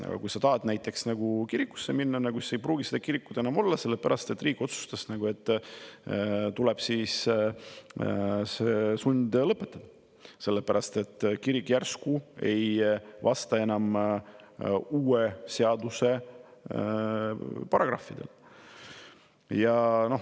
Aga kui sa tahad näiteks kirikusse minna, siis ei pruugi seda kirikut enam olla, sest riik on otsustanud, et see tuleb sundlõpetada, sest see kirik ei vastanud enam uue seaduse paragrahvidele.